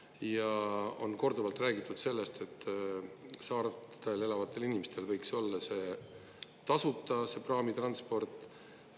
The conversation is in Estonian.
Ja on korduvalt räägitud sellest, et saartel elavatel inimestel võiks see olla see tasuta, see praamitransport.